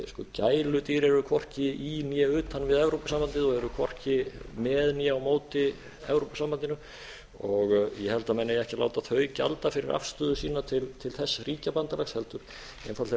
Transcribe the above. gæludýr eru hvorki í né utan við evrópusambandið og eru hvorki með né á móti evrópusambandinu ég held að menn eigi ekki að láta þau gjalda fyrir afstöðu sína til þess ríkjabandalags heldur einfaldlega